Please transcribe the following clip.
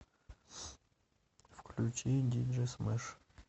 включи диджей смэш